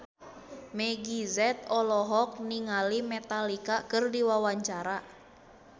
Meggie Z olohok ningali Metallica keur diwawancara